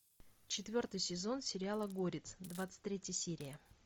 четвертый сезон сериала горец двадцать третья серия